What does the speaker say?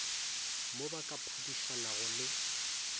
mo ba ka phadišanago le